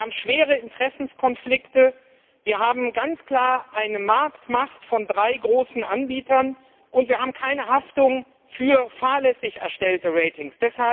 Wir haben ernste Interessenkonflikte, wir haben ganz klar eine Marktmacht von drei großen Anbietern, und wir haben keine Haftung für fahrlässig erstellte Ratings.